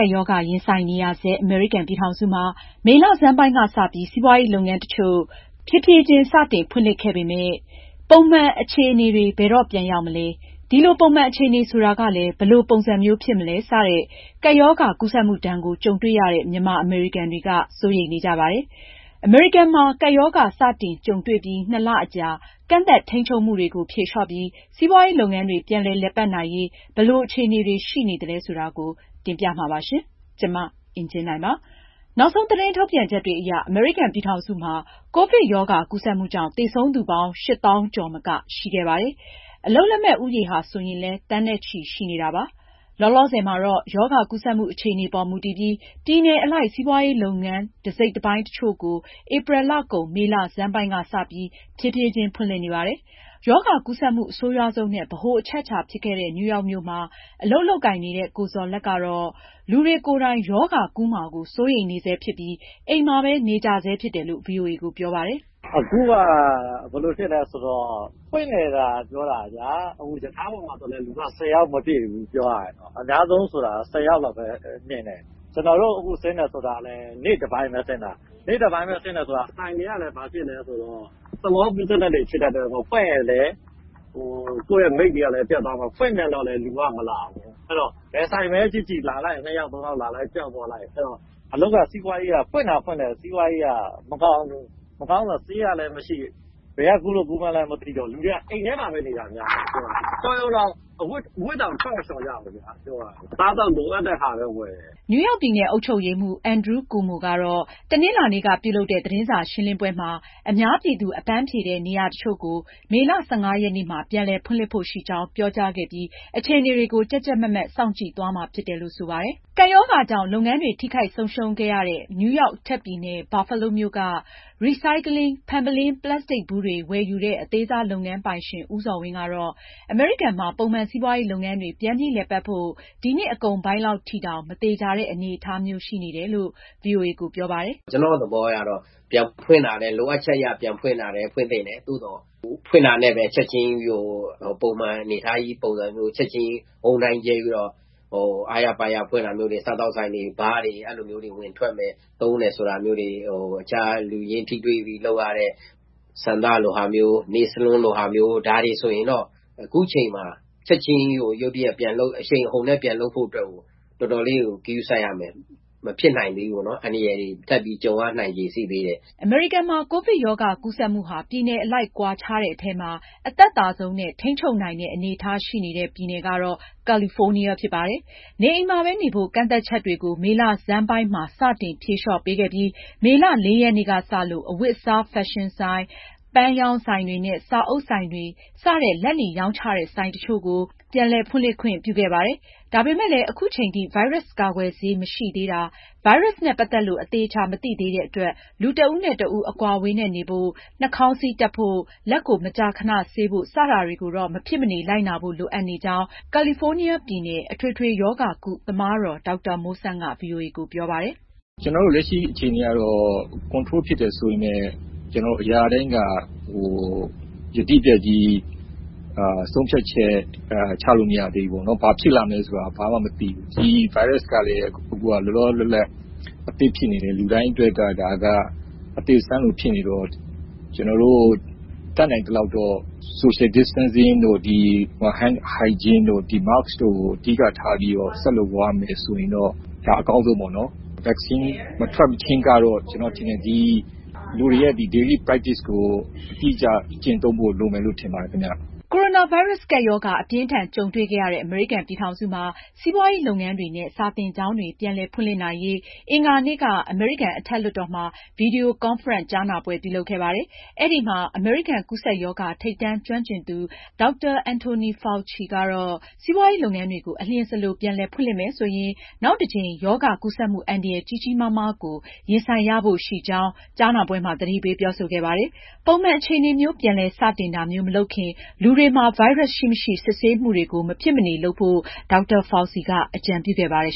ပ်ရောဂါရင်ဆိုင်နေရဆဲ အမေရိကန်ပြည်ထောင်စုမှာ မေလဆန်းပိုင်းကစပြီး စီးပွားရေးလုပ်ငန်း တချို့ ဖြေးဖြေးချင်း စတင်ဖွင့်လှစ်ခဲ့ပေမယ့် ပုံမှန်အခြေအနေတွေ ဘယ်တော့ပြန်ရောက်မလဲ၊ ဒီလို ပုံမှန်အခြေအနေဆိုတာကလည်း ဘယ်လိုပုံစံမျိုးဖြစ်မလဲ စတဲ့ ကပ်ရောဂါ ကူးစက်မှုဒဏ်ကို ကြုံတွေ့ရတဲ့မြန်မာအမေရိကန်တွေက စိုးရိမ်နေကြပါတယ်။ အမေရိကန်မှာ ကပ်ရောဂါ စတင်ကြုံတွေ့ပြီး နှစ်လအကြာ ကန့်သတ်ထိန်းချုပ်မှုတွေကို ဖြေလျော့ပြီး စီးပွားရေးလုပ်ငန်းတွေ ပြန်လည်ပတ်နိုင်ရေး ဘယ်လို အခြေအနေတွေ ရှိနေသလဲဆိုတာ မအင်ကြင်းနိုင်က ဆက်လက်တင်ပြမှာပါ။ နောက်ဆုံးသတင်းထုတ်ပြန်ချက်တွေအရ အမေရိကန်ပြည်ထောင်စုမှာ ကိုဗစ်ရောဂါကူးစက်မှုကြောင့် သေဆုံးသူပေါင်း ၈၀,၀၀၀ သောင်းကျော်မက ရှိခဲ့ပါတယ်။ အလုပ်လက်မဲ့ ဦးရေဟာ ဆိုရင်လည်း သန်းနဲ့ချီရှိနေတာပါ။လောလောဆယ်မှာတော့ ရောဂါကူးစက်မှုအခြေအနေပေါ်မူတည်ပြီး ပြည်နယ်အလိုက် စီးပွားရေးလုပ်ငန်း အစိတ်အပိုင်း တချို့ကို ဧပြီလကုန်၊ မေလဆန်းပိုင်းက စပြီး ဖြေးဖြေးချင်း ဖွင့်လှစ်နေပါတယ်။ ရောဂါကူးစက်မှု အဆိုးရွားဆုံးနဲ့ ဗဟိုအချက်အချာဖြစ်ခဲ့တဲ့ နယူးရောက်မြို့မှာ အလုပ်လုပ်ကိုင်နေတဲ့ ကိုဇော်လတ်ကတော့ လူတွေကိုယ်တိုင် ရောဂါကူးမှာ စိုးရိမ်နေဆဲဖြစ်ပြီး အိမ်မှာ နေကြဆဲဖြစ်တယ်လို့ ဗွီအိုအေကိုပြောပါတယ်။ "အခုဟာ ဘယ်လိုဖြစ်သလဲဆိုတော့ ဖွင့်တယ်သာ ပြောတာဗျာ။ ရထားပေါ်မှာ ဆယ်ယောက်တောင် မပြည့်ဘူး။ ကျနော်တို့ အခုဆင်းတယ်ဆိုတာကလည်း နေ့တပိုင်းပဲ ဆင်းတာ။ ဆိုင်တွေကလည်း ဘာဖြစ်နေသလဲဆိုတော့ စီးပွားရေးတွေက နှေးနေတော့ မဖွင့်ရင် ကိုယ့်မိတ်တွေပျက်မယ်၊ ဖွင့်ပြန်တော့လည်း လူက မလာဘူး။ အဲတော့ ဘယ်ဆိုင်ပဲကြည့်ကြည့်။ ဖွင့်ထားရင် လူနှစ်ယောက် သုံးယောက်လောက်ပဲ လာတယ်။ ပျောက်သွားလိုက်ဆိုတော့ ဖွင့်သာဖွင့်ထားရတယ်။ စီးပွားရေးက မကောင်းဘူး။ ရောဂါအတွက် ဆေးကလည်းမရှိ။ ဘယ်က ကူးလို့ ကူးမှန်းလည်းမသိ။ လူတွေက အိမ်ထဲမှာပဲ နေတာများတယ်။ တော်ရုံ အဝတ်အစားတွေတောင် ထွက်မလျှော်ကြဘူး။ လိုအပ်တဲ့ အစားအသောက်တွေလောက်ပဲ ဝယ်ဖို့ ထွက်ကြတော့တယ်။" နယူးရောက်ပြည်နယ် အုပ်ချုပ်ရေးမှူး Andrew Cuomo ကတော့ တနင်္လာနေ့ကပြုလုပ်တဲ့ သတင်းစာရှင်းလင်းပွဲမှာ အများပြည်သူ အပန်းဖြေတဲ့ နေရာတချို့ကို မေလ ၁၅ ရက်နေ့မှာ ပြန်လည်ဖွင့်လှစ်ဖို့ရှိကြောင်း ပြောကြားခဲ့ပြီး အခြေအနေတွေကို ကြပ်ကြပ်မတ်မတ် စောင့်ကြည့်သွားမှာဖြစ်တယ်လို့ဆိုပါတယ်။ ကပ်ရောဂါကြောင့် လုပ်ငန်းတွေထိခိုက်ဆုံးရှုံးခဲ့ရတဲ့ နယူးရောက်အထက်ပြည်နယ် Buffalo မြို့က Recycling ဖန်ပုလင်း၊ ပလတ်စတစ်ဗူးတွေ ဝယ်ယူတဲ့ အသေးစားလုပ်ငန်း ပိုင်ရှင် ဦးဇော်ဝင်းကတော့ အမေရိကန်မှာ ပုံမှန်စီးပွားရေးလုပ်ငန်းတွေ ပြန်ပြီးလည်ပတ်ဖို့ ဒီနှစ်အကုန်ပိုင်းလောက်ထိတောင် မသေချာတဲ့ အနေအထားမျိုးရှိနေတယ်လို့ အခုလို ဗွီအိုအေကိုပြောပါတယ်။ " ကျနော်အမြင်အရ လိုအပ်ချက်အတွက် ပြန်ဖွင့်တာလည်း ဖွင့်သင့်တယ်။ သို့သော် ဖွင့်တာနဲ့ပဲ ချက်ချင်း ပုံမှန်အနေအထားကို ဝုန်းဒိုင်းကြဲပြီးတော့ အားရပါးရနဲ့ စားသောက်ဆိုင်တွေ၊ ဘားဆိုင်တွေ၊ အခြားလူချင်းထိတွေ့ပြီးလုပ်ရတဲ့ လက်သည်းအလှပြင်ဆိုင်တွေ၊ ဆံပင်ညှပ်ဆိုင်တွေ ဆိုရင်တော့ အခုချိန်မှာ ချက်ချင်းကြီး အရှိန်အဟုန်နဲ့ ပြန်လုပ်မယ်ဆိုရင် တော်တော် ဂရုစိုက်ရမယ်။ မဖြစ်နိုင်သေးဘူး။ အန္တရာယ်တွေ ထပ်ပြီးကြုံရနိုင်ချေ ရှိသေးတယ်။" အမေရိကန်မှာ ကိုဗစ်ရောဂါ ကူးစက်မှုဟာ ပြည်နယ်အလိုက်ကွာခြားတဲ့ အထဲမှာ အသက်သာဆုံးနဲ့ ထိန်းချုပ်နိုင်တဲ့ အနေအထားရှိနေတဲ့ ပြည်နယ်ကတော့ ကာလီဖိုးနီးယားဖြစ်ပါတယ်။ နေအိမ်မှာပဲနေဖို့ ကန့်သတ်ချက်တွေကို မေလဆန်းပိုင်းမှာ စတင် ဖြေလျော့ပေးခဲ့ပြီး မေလ ၄ ရက်နေ့ကစလို့ အဝတ်အစားဖက်ရှင်ဆိုင်၊ ပန်းရောင်ဆိုင်တွေနဲ့ စာအုပ်ဆိုင်တွေ စတဲ့ လက်လီရောင်းချတဲ့ ဆိုင်တချို့ကို ပြန်လည် ဖွင့်လှစ်ခွင့်ပေးခဲ့ပါတယ်။ ဒါပေမဲ့လည်း အခုချိန်ထိ ဗိုင်းရပ်စ်ကာကွယ်ဆေးမရှိသေးတာ၊ ဗိုင်းရပ်စ်နဲ့ ပတ်သက်လို့ အသေအချာမသိသေးတဲ့အတွက် လူတဦးနဲ့တဦး အကွာအဝေးနဲ့ နေဖို့၊ နှာခေါင်းစည်းတပ်ဖို့၊ လက်ကို မကြာခဏဆေးဖို့ စတာတွေကိုတော့ မဖြစ်မနေ လိုက်နာဖို့ လိုအပ်နေကြောင်း ကာလီဖိုးနီးယားပြည်နယ်က အထွေထွေရောဂါကု သမားတော် ဒေါက်တာမိုးဆန်းက ဗွီအိုအေကို ပြောပါတယ်။ "ကျနော်တို့ လက်ရှိအခြေအနေကတော့ ထိန်းချုပ်နိုင်ပြီ ဆိုပေမယ့် အရာရာတိုင်းက ယတိပြတ် ဆုံးဖြတ်ချက် ချလို့မရသေးဘူးပေါ့နော်။ ဘာဖြစ်လာမလဲဆိုတာ ဘာမှမသိဘူး။ ဒီဗိုင်းရပ်စ်ကလည်း လောလောလတ်လတ် အသစ်ဖြစ်နေတော့ ကျနော်တို့ တတ်နိုင်သလောက်တော့ Social Distancing တို့၊ လက်ဆေးတာတို့၊ နှာခေါင်းစည်းတပ်တာတို့ ကို အဓိကထားပြီး ဆက်လုပ်သွားမယ်ဆိုရင် အကောင်းဆုံးပါ။ vaccine ကာကွယ်ဆေး မထွက်မချင်းကတော့ လူတွေရဲ့ နေစဉ် လုပ်ဆောင်ရမယ့် အလေ့အထကို အတိအကျကျင့်သုံးဖို့ လိုမယ်လို့ ထင်ပါတယ်ခင်ဗျ။" ကိုရိုနာဗိုင်းရပ်စ် ကပ်ရောဂါ အပြင်းအထန်ကြုံတွေ့ခဲ့ရတဲ့ အမေရိကန်ပြည်ထောင်စုမှာ စီးပွားရေး လုပ်ငန်းတွေနဲ့ စာသင်ကျောင်းတွေ ပြန်လည်ဖွင့်လှစ်နိုင်ရေး အင်္ဂါနေ့က အမေရိကန် အထက် လွှတ်တော်မှာ ဗွီဒီယို ကွန်ဖရင့်ကြားနာပွဲပြုလုပ်ခဲ့ပါတယ်။ အဲဒီမှာ အမေရိကန် ကူးစက်ရောဂါ ထိပ်တန်းကျွမ်းကျင်သူ ဒေါက်တာ Anthony Fauci ကတော့ စီးပွားရေးလုပ်ငန်းတွေကို အလျင်စလို ပြန်လည်ဖွင့်လှစ်မယ်ဆိုရင် နောက်တကြိမ် ရောဂါကူးစက်မှုအန္တရာယ် ကြီးကြီးမားမားကို ရင်ဆိုင်ရဖို့ရှိကြောင်း ကြားနာပွဲမှာ သတိပေးပြောဆိုခဲ့ပါတယ်။ ပုံမှန်အခြေအနေမျိုး ပြန်လည် စတင်တာမျိုး မလုပ်ခင် လူတွေမှာ ဗိုင်းရပ်စ်ရှိမရှိ စစ်ဆေးမှုတွေကို မဖြစ်မနေ လုပ်ဖို့ ဒေါက်တာFauci က အကြံပြုခဲ့ပါတယ်